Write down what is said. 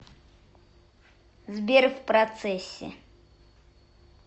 сбер в процессе